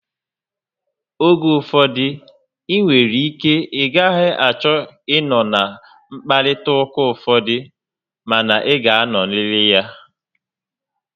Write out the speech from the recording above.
Oge ụfọdụ, ị nwere ike ị gaghị achọ ị nọ na nkparịta ụka ụfọdụ, ma na ị ga anọrịrị ya